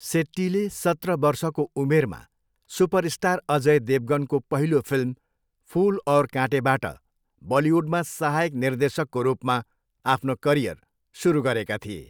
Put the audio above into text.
सेट्टीले सत्र वर्षको उमेरमा सुपरस्टार अजय देवगनको पहिलो फिल्म फुल और काँटेबाट बलिउडमा सहायक निर्देशकको रूपमा आफ्नो करियर सुरु गरेका थिए।